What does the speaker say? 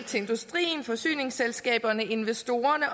til industrien forsyningsselskaberne investorerne